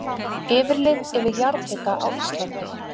Yfirlit yfir jarðhita á Íslandi.